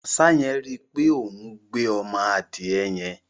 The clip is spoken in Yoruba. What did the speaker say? Àṣá yẹn rí í pé òún gbé ọmọ adìẹ yẹn.